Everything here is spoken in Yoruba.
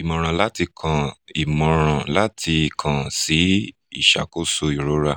ìmọ̀ràn láti kàn ìmọ̀ràn láti kàn sí ìṣàkóso ìrora